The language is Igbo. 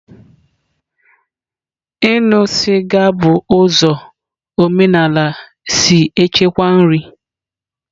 Ịṅụ sịga bụ ụzọ omenala si echekwa nri.